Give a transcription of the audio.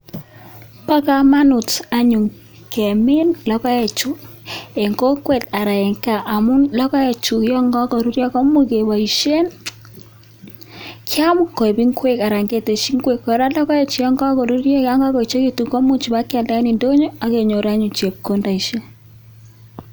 Bo kamanut anyun kemin logoek chu en kokwet anan en kaa amun logoek chu yon kakorurypo komuch keboisien kyam koik ngwek anan ketesyi ngwek kora logoek chu yon kakoruryo akoechekitun komuch kobakyalda en ndonyo akenyor anyun chepkondok.